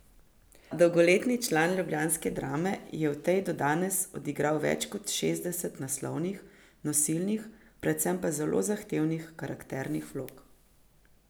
Dolgoletni član ljubljanske Drame je v tej do danes odigral več kot šestdeset naslovnih, nosilnih, predvsem pa zelo zahtevnih karakternih vlog.